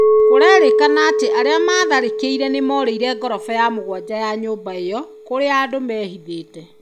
Kũrerekana atĩ arĩa maatharĩkĩire nĩ moorĩire ngoroba ya mũgwanja ya nyũmba ĩo. Kũrĩa andũ meehithĩte.